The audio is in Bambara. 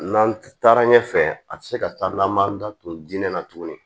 N'an taara ɲɛfɛ a te se ka taa n'an m'an da tun diinɛ na tuguni